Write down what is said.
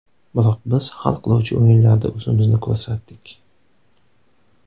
Biroq biz hal qiluvchi o‘yinlarda o‘zimizni ko‘rsatdik.